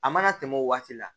A mana tɛmɛ o waati la